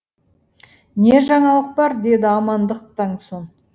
не жаңалық бар деді амандықтан соң